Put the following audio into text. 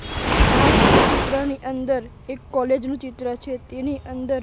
આ ચિત્રની અંદર એક કોલેજ નું ચિત્ર છે તેની અંદર--